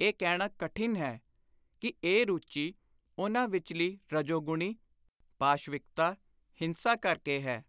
ਇਹ ਕਹਿਣਾ ਕਠਿਨ ਹੈ ਕਿ ਇਹ ਰੁਚੀ ਉਨ੍ਹਾਂ ਵਿਚਲੀ ਰਜੋਗੁਣੀ ਪਾਸ਼ਵਿਕਤਾ (ਹਿੰਸਾ) ਕਰਕੇ ਹੈ